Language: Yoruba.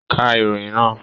Ka ìròyìn naa!